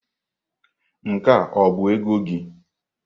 Nke a ọ bụ ego gị?